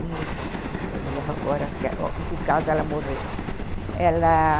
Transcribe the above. Minha irmã, eu me lembro agora, em que caso ela morreu.